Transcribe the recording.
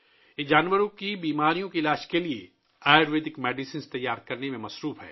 یہ مویشیوں کی بیماریوں کے علاج کے لیے آیورویدک ادویات تیار کرنے میں مصروف ہے